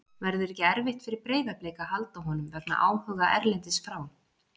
Verður ekki erfitt fyrir Breiðablik að halda honum vegna áhuga erlendis frá?